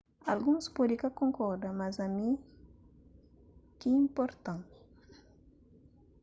alguns pode ka konkorda mas ami ki inporta-m